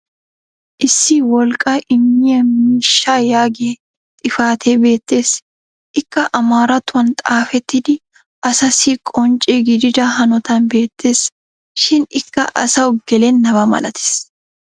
issi wolqqaa immiyaa miishshaa yaagiya xifatee beettes. ikka amaarattuwan xaafetiidi asaasi qoncce gididda hanottan beetes. shin ikka asawu gelennaba malatees.